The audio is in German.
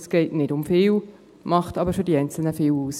Es geht nicht um viel, macht aber für die Einzelnen viel aus.